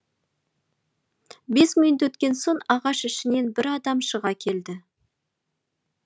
бес минут өткен соң ағаш ішінен бір адам шыға келді